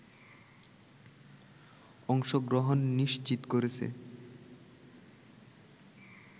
অংশগ্রহণ নিশ্চিত করেছে